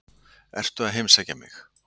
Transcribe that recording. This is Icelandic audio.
Ertu að heimsækja mig?